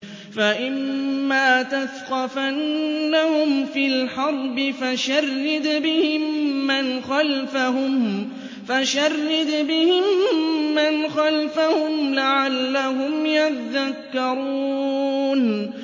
فَإِمَّا تَثْقَفَنَّهُمْ فِي الْحَرْبِ فَشَرِّدْ بِهِم مَّنْ خَلْفَهُمْ لَعَلَّهُمْ يَذَّكَّرُونَ